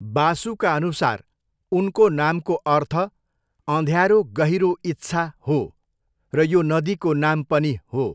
बासुका अनुसार उनको नामको अर्थ 'अँध्यारो गहिरो इच्छा' हो र यो नदीको नाम पनि हो।